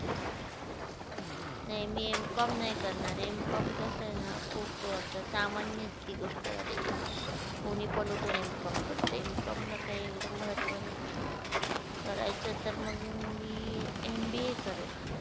नाही मी MCOM नाही करणार MCOM कस ना खूप आता सामान्य गोष्ट झालेलीये कोणी पण उठून MCOM करतेय, MCOM ला काय एवढं महत्व नाहीये, करायचे तर मग मी MBA करेल.